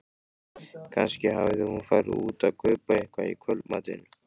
Kannski hafði hún farið út að kaupa eitthvað í kvöldmatinn.